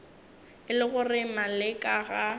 e le gore maleka ga